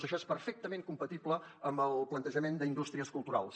això és perfectament compatible amb el plantejament d’indústries culturals